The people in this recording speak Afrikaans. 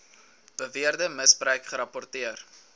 beweerde misbruik gerapporteer